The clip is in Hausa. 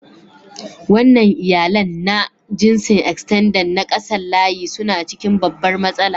Wannan iyalannna jinsin "Extended " na kasan layi suna cikin babbar matsala.